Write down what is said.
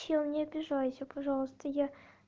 чел не обижайся пожалуйста я